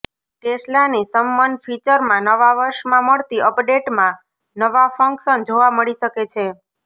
ટેસ્લાની સમ્મન ફીચરમાં નવાં વર્ષમાં મળતી અપડેટમાં નવાં ફંક્શન જોવા મળી શકે છે